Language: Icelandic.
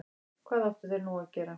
Hvað áttu þeir nú að gera?